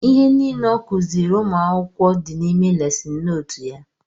Ihe nile ọ kuziri ụmụ akwụkwọ dị n'ime lesin nootu ya